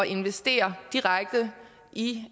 investere direkte i